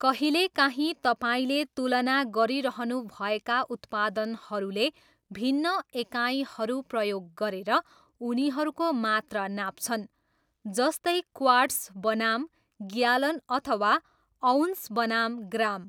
कहिलेकाहीँ तपाईँले तुलना गरिरहनुभएका उत्पादनहरूले भिन्न एकाइहरू प्रयोग गरेर उनीहरूको मात्रा नाप्छन्, जस्तै क्वार्ट्स बनाम ग्यालन अथवा अउन्स बनाम ग्राम।